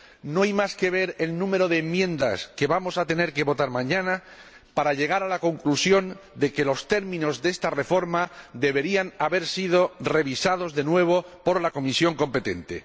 No hay más que ver el número de enmiendas que vamos a tener que votar mañana para llegar a la conclusión de que los términos de esta reforma deberían haber sido revisados de nuevo por la comisión competente.